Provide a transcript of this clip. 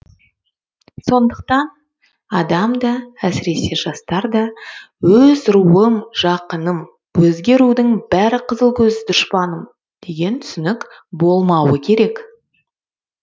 сондықтан адамда әсіресе жастарда өз руым жақыным өзге рудың бәрі қызылкөз дұшпаным деген түсінік болмауы керек